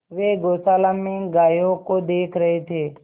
वे गौशाला में गायों को देख रहे थे